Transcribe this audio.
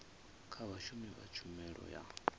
kha vhashumi vha tshumelo ya